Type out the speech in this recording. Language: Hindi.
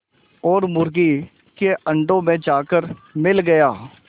और मुर्गी के अंडों में जाकर मिल गया